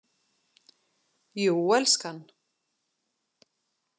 Jú, elskan.